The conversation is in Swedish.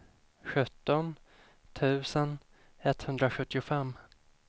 sjutton tusen etthundrasjuttiofem